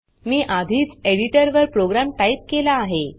मी आधीच एडिटर वर program type केला आहे